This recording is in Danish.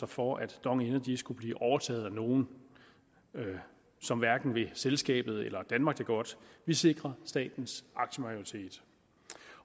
for at dong energy skulle blive overtaget af nogle som hverken vil selskabet eller danmark det godt vi sikrer statens aktiemajoritet